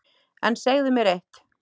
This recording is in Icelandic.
En segðu mér eitt